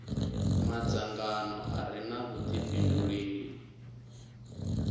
madzangano a re na vhudifhinduleli